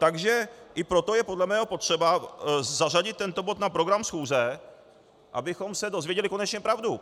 Takže i proto je podle mého potřeba zařadit tento bod na program schůze, abychom se dozvěděli konečně pravdu.